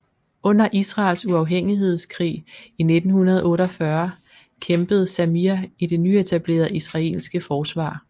Under Israels uafhængighedskrig i 1948 kæmpede Zamir i det nyetablerede israelske forsvar